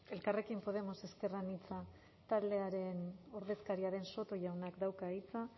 elkarrekin podemos ezker anitza taldearen ordezkariaren soto jaunak dauka hitza